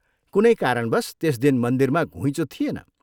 कुनै कारणवश त्यस दिन मन्दिरमा घुइँचो थिएन।